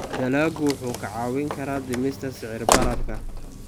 Dalaggu wuxuu kaa caawin karaa dhimista sicir bararka.